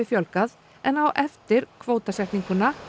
fjölgað en á eftir kvótasetningunni